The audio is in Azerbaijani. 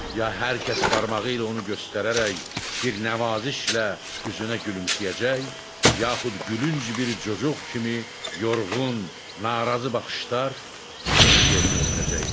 Ya hər kəs barmağı ilə onu göstərərək bir nəvazişlə üzünə gülümsəyəcək, yaxud gülünc bir cocuq kimi yorğun, narazı baxışlar onu yerinə ötürəcəkdi.